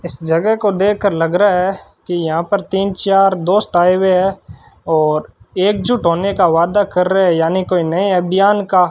इस जगह को देखकर लग रहा है कि यहां पर तीन चार दोस्त आए हुए हैं और एकजुट होने का वादा कर रहे यानी कोई नए अभियान का --